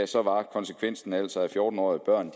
så var konsekvensen altså at fjorten årige børn